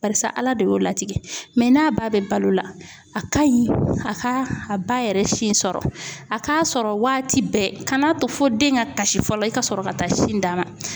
Barisa Ala de y'o latigɛ n'a ba bɛ balo la a ka ɲi a ka a ba yɛrɛ sin sɔrɔ a k'a sɔrɔ waati bɛɛ kan'a to fo den ka kasi fɔlɔ i ka sɔrɔ ka taa sin d'a ma.